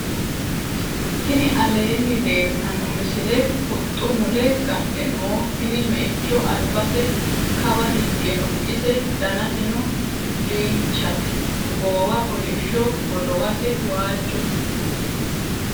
tinni aleni leltano miisile huxxu mule gadhe noo tinni meicho albase kaawa hige noo ise dannaseno dichate goowa koollisho godowase wajote.